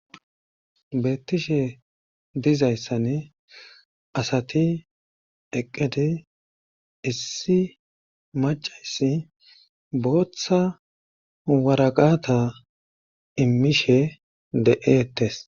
Beettishe dizayssan asati eqqedi issi macayssi booththa waraqata immishe de7eettes.